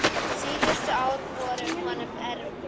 Síðustu ár voru honum erfið.